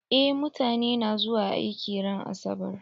Eh mutane na zuwa aiki ran asabar.